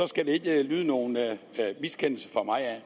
skal der ikke lyde nogen miskendelse fra mig af